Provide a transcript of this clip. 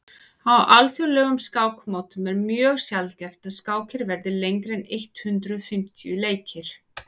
á alþjóðlegum skákmótum er mjög sjaldgæft að skákir verði lengri en eitt hundruð fimmtíu leikir